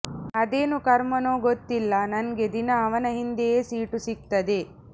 ಅದೇನು ಕರ್ಮನೋ ಗೊತ್ತಿಲ್ಲ ನಂಗೆ ದಿನ ಅವನ ಹಿಂದೆಯೇ ಸೀಟು ಸಿಗ್ತದೆ